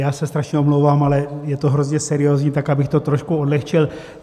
Já se strašně omlouvám, ale je to hrozně seriózní, tak abych to trošku odlehčil.